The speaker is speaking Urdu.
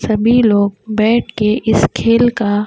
سبھی لوگ بیٹھ کے اس کھل کا-।